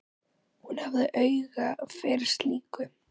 Hún hafði auga fyrir slíku.